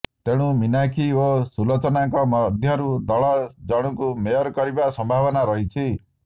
ତେଣୁ ମୀନାକ୍ଷୀ ଓ ସୁଲୋଚନାଙ୍କ ମଧ୍ୟରୁ ଦଳ ଜଣଙ୍କୁ ମେୟର କରିବା ସମ୍ଭାବନା ରହିଛି